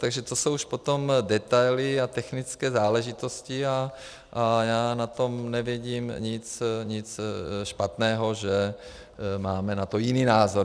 Takže to jsou už potom detaily a technické záležitosti a já na tom nevidím nic špatného, že máme na to jiný názor.